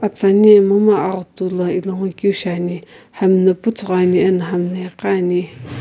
tsiinu momu aghutu ilohukeu shiane hamna puthughu ani ana hamna egha ne.